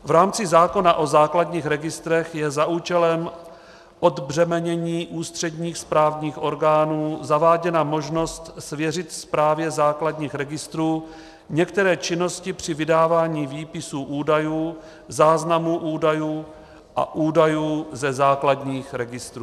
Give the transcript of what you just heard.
V rámci zákona o základních registrech je za účelem odbřemenění ústředních správních orgánů zaváděna možnost svěřit správě základních registrů některé činnosti při vydávání výpisů údajů, záznamů údajů a údajů ze základních registrů.